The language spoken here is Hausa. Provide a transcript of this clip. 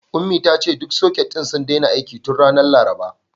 Ummi ta ce duk soket ɗin sun daina aiki tun ranar Laraba.